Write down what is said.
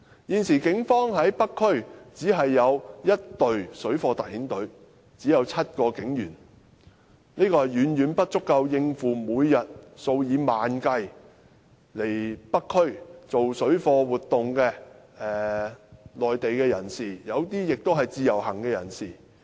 現時警方在北區只有1隊由7名警員組成的水貨特遣隊，這是遠遠不足以應付每天數以萬計到北區進行水貨活動的內地人士，當中有部分是自由行人士。